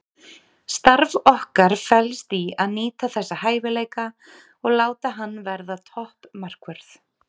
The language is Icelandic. Starf okkar felst í að nýta þessa hæfileika og láta hann verða topp markvörð.